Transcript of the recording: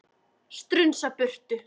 Strunsa burtu.